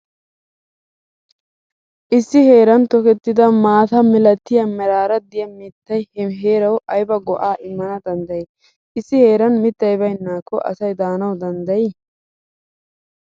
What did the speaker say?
Issi heeran tokettidi maata milatiya meraara diya mittay he heerawu ayba go'aa immana danddayi? Issi heeran mittay baynnaakko asay daanawu danddayi?